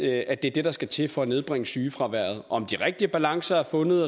at det er det der skal til for at nedbringe sygefraværet om de rigtige balancer er fundet